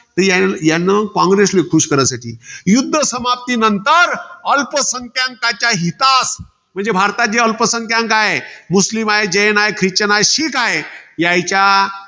यानं, कॉंग्रेसला खुश करायसाठी. युध्द समाप्तीनंतर अल्पसंख्यांकांच्या हितास. म्हणजे भारतात जे अल्पसंख्यांक आहे. मुस्लीम हाये, जैन हाये, खिश्चन हाये, शीख हाये. यायच्या